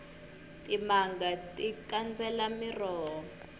timanga ti kandzela miroho